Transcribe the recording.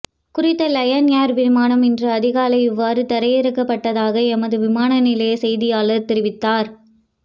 குறித்த Lion Air விமானம் இன்று அதிகாலை இவ்வாறு தரையிரக்கப்பட்டதாக எமது விமான நிலைய செய்தியாளர் தெரிவித்தார்